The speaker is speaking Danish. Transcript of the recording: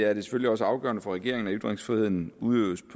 er det selvfølgelig også afgørende for regeringen at ytringsfriheden udøves